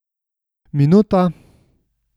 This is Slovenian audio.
Minuta!